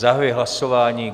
Zahajuji hlasování.